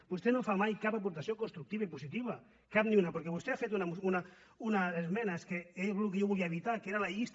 vostè no fa mai cap aportació constructiva i positiva cap ni una perquè vostè ha fet una esmena és que és el que jo volia evitar que era la llista